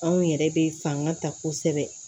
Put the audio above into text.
Anw yɛrɛ bɛ fanga ta kosɛbɛ